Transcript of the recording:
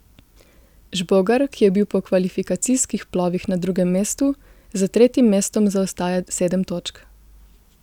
Žbogar, ki je bil po kvalifikacijskih plovih na drugem mestu, za tretjim mestom zaostaja sedem točk.